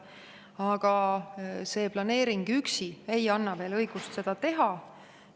Aga see planeering üksi ei anna veel õigust seda teha.